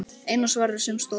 Eina svarið sem stóð eftir.